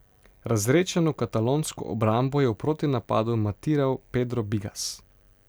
Razredčeno katalonsko obrambo je v protinapadu matiral Pedro Bigas.